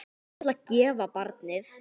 Ég ætla að gefa barnið.